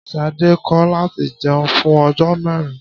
Sade kò láti jeun fún ojó mérin